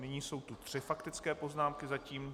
Nyní jsou tu tři faktické poznámky, zatím.